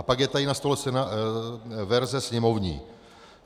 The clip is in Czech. A pak je tady na stole verze sněmovní.